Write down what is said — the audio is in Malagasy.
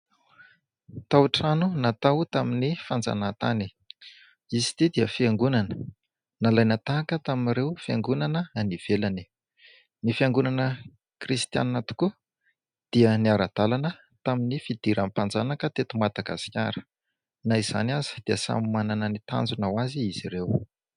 Tao-trano natao tamin'ny fanjanahantany ; izy ity dia fiangonana nalaina tahaka tamin'ireo fiangonana any ivelany ; ny fiangonana kristianina tokoa dia niara-dalana tamin'ny fidiran'ny mpanjanaka teto Madagasikara na izany aza dia samy manana ny tanjona ho azy izy ireo.